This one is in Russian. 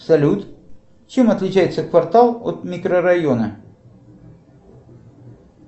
салют чем отличается квартал от микрорайона